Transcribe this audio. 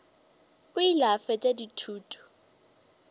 o ile a fetša dithuto